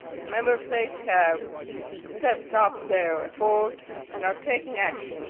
Member States have stepped up their efforts and are taking action.